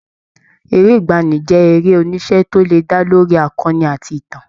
Eré ìgbaanì jẹ́ eré-oníṣe tó lè dá lórí akọni àti ìtàn.